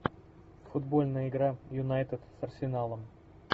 футбольная игра юнайтед с арсеналом